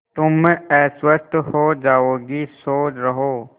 तुम अस्वस्थ हो जाओगी सो रहो